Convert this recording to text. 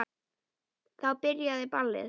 Þá byrjaði ballið.